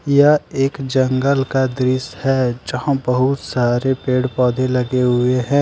यह एक जंगल का दृश्य हैं जहां बहुत सारे पेड़ पौधे लगे हुए हैं।